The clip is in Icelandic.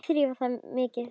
Ekki þrífa þær mikið.